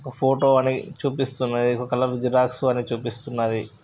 ఒక ఫోటో అని చూపిస్తుంది.ఒకకలర్ జిరాక్స్ అని చూపిస్తుంది.